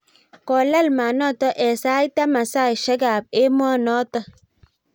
kolal maat noto eng sait taman saisiek ab emoo noto